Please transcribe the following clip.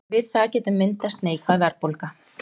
við það getur myndast neikvæð verðbólga